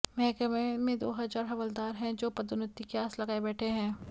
महकमे में दो हजार हवलदार हैं जो पदोन्नति की आस लगाए बैठे हैं